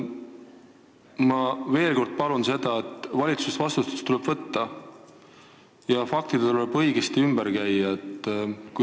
Ma veel kord palun arvestada seda, et valitsusel tuleb vastutus võtta ja faktidega tuleb õigesti ümber käia.